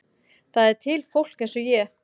Það er til fólk eins og ég.